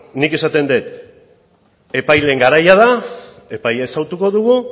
beno nik esaten dut epaileen garaia da epaia ezagutuko dugu